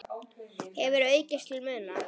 hefur aukist til muna.